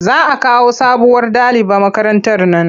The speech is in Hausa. Za a kawo sabuwar daliba makarantar nan.